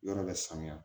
Yɔrɔ bɛ sanuya